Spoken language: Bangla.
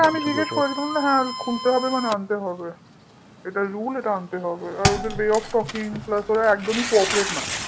হ্যাঁ আমি করেছিলাম হ্যাঁ মানে খুলতে হবে মানে আনতে হবে। এটা rule এটা আনতে হবে ওদের way of talking plus ওরা একদমই coperate না